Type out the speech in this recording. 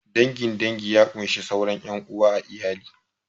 Dangin dangi ya kunshi sauran ƴan uwa a iyali